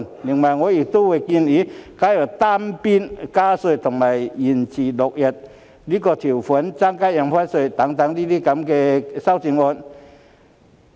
此外，我亦會考慮提出加入單邊加稅，以及延遲落實增加印花稅日期等修正案。